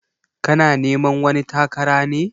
Kana neman wani takara ne?